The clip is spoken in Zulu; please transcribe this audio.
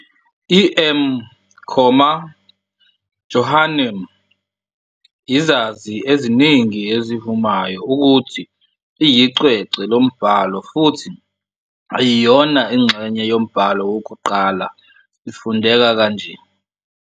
EM Comma Johanneum, izazi eziningi ezivumayo ukuthi iyicwecwe lombhalo futhi ayiyona ingxenye yombhalo wokuqala ifundeka kanje.